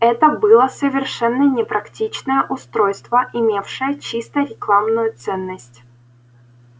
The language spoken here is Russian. это было совершенно непрактичное устройство имевшее чисто рекламную ценность